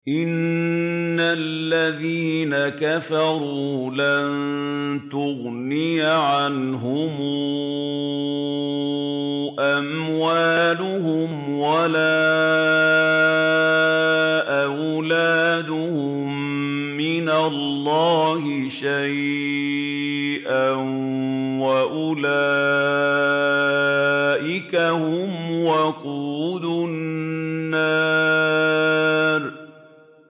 إِنَّ الَّذِينَ كَفَرُوا لَن تُغْنِيَ عَنْهُمْ أَمْوَالُهُمْ وَلَا أَوْلَادُهُم مِّنَ اللَّهِ شَيْئًا ۖ وَأُولَٰئِكَ هُمْ وَقُودُ النَّارِ